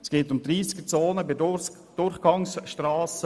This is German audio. es geht um einzuführende Tempo-30-Zonen bei Durchgangsstrassen;